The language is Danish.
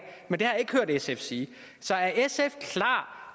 men det har jeg ikke hørt sf sige så er sf klar